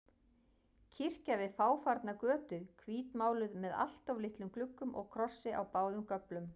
Kirkja við fáfarna götu, hvítmáluð með alltof litlum gluggum og krossi á báðum göflum.